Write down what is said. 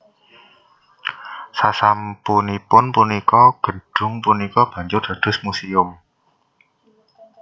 Sasampunipun punika gedhung punika banjur dados muséum